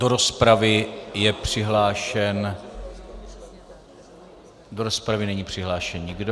Do rozpravy je přihlášen - do rozpravy není přihlášen nikdo.